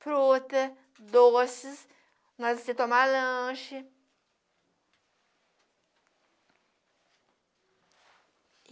Fruta, doces, para você tomar lanche.